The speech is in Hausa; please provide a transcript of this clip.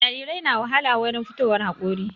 Jarirai na wahala wurin fitowar haƙori